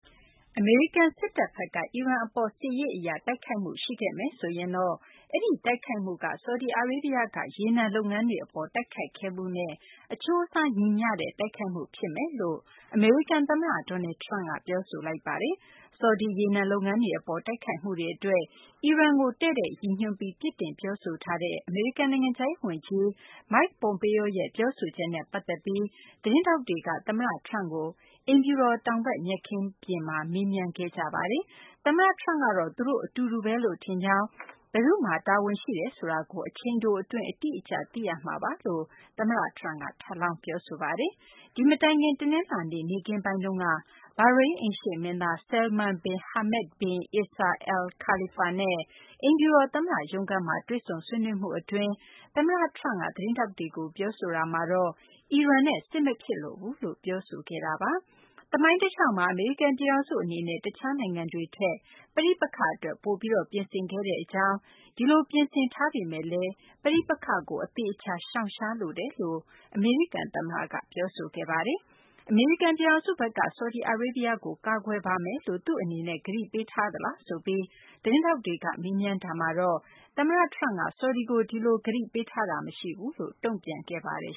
အမေရိကန် စစ်တပ်ဘက်က အီရန် အပေါ် စစ်ရေး အရ တိုက်ခိုက်မှု ရှိခဲ့မယ်ဆိုရင်တော့ အဲဒီ တိုက်ခိုက်မှုက ဆော်ဒီအာရေးဗျက ရေနံ လုပ်ငန်းတွေ အပေါ် တိုက်ခိုက်ခဲ့မှုနဲ့ အချိုးအစား ညီမျှတဲ့ တိုက်ခိုက်မှု ဖြစ်မယ်လို့ အမေရိကန် သမ္မတ Donald Trump က ပြောဆိုလိုက်ပါတယ်။ ဆော်ဒီ ရေနံ လုပ်ငန်းတွေ အပေါ် တိုက်ခိုက်မှုတွေ အတွက် အီရန်ကို တည့်တည့်ရည်ညွှန်းပြီး ပြစ်တင်လိုက်တဲ့ အမေရိကန် နိုင်ငံခြားရေး ဝန်ကြီး Mike Pompeo ရဲ့ ပြောဆိုချက်နဲ့ ပတ်သက်ပြီး သတင်းထောက်တွေက သမ္မတ Trump ကို အိမ်ဖြူတော် တောင်ဘက် မြက်ခင်းပြင်မှာ မေးမြန်းခဲ့ကြပါတယ်။ သမ္မတ Trump ကတော့ သူ့အနေနဲ့လည်း အလားတူ ယူဆတဲ့ အကြောင်း၊ တိုက်ခိုက်မှု အတွက် ဘယ်သူ့မှာ တာဝန်ရှိတယ်ဆိုတာကို အချိန်တို အတွင်း အတိအကျ သိရမှာပါလို့လည်း သမ္မတ Trump က ထပ်လောင်း ပြောဆိုခဲ့ပါတယ်။ ဒီမတိုင်ခင် တနလာၤနေ့ နေ့ခင်းပိုင်းတုန်းက ဘာရိန်း အိမ်ရှေ့မင်းသား Salman Bin Hamad bin Isa Al Khalifa နဲ့ အိမ်ဖြူတော် သမ္မတ ရုံးခန်းမှာ တွေ့ဆုံဆွေးနွေးမှု အတွင်း သမ္မတ Trump က သတင်းထောက် တွေကို ပြောဆိုတာမှာတော့ အီရန်နဲ့တော့ စစ်မဖြစ်လိုဘူးလို့ ပြောဆိုခဲ့တာပါ။ သမိုင်းတလျှောက်မှာ အမေရိကန် ပြည်ထောင်စု အနေနဲ့ တခြားနိုင်ငံတွေထက် ပဋိပက္ခအတွက် ပိုပြီး ပြင်ဆင်ခဲ့ကြောင်း၊ ဒီလို ပြင်ဆင်ထားပေမယ့်လည်း ပဋိပက္ခကို အသေအချာ ရှောင်ရှားလိုပါတယ်လို့ သမ္မတ Trump က ပြောဆိုခဲ့တာပါ။ အမေရိကန် ပြည်ထောင်စုဘက်က ဆော်ဒီအာရေးဗျကို ကာကွယ်ပါမယ်လို့ သူ့အနေနဲ့ ကတိပေးထားသလားလို့ သတင်းထောက်တွေက မေးတာမှာတော့ သမ္မတ Trump က ဆော်ဒီကို ဒီလို ကတိပေးထားတာ မရှိဘူးလို့ တုံ့ပြန်ခဲ့ပါတယ်